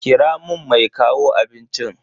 Kira mun mai kawo abincin.